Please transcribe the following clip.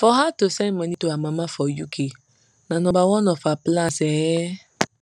for her to send money to her mama for uk na nomba one for her plans um